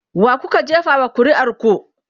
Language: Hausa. wakuka jefa wa ƙuri'ar ku?